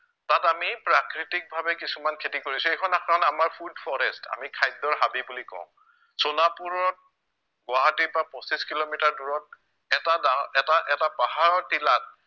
তাত আমি প্ৰাকৃতিকভাৱে কিছুমান খেতি কৰিছো এইখন আপোনাৰ আমাৰ food forest আমি খাদ্য়ৰ হাবি বুলি কও, সোণাপুৰত, গুৱাহাটীৰপৰা পঁচিছ কিলোমিটাৰ দূৰত এটা ডাঙৰ এটা এটা পাহাৰৰ টিলাত